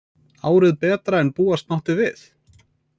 Árið betra en búast mátti við